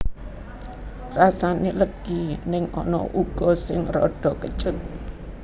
Rasané legi ning ana uga sing radha kecut